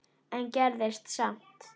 en gerðist samt.